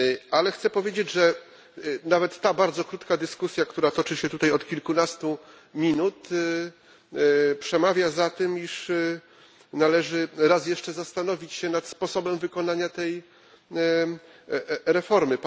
Ale chcę powiedzieć, że nawet ta bardzo krótka dyskusja, która toczy się tutaj od kilkunastu minut, przemawia za tym, by raz jeszcze zastanowić się nad sposobem wykonania tej reformy.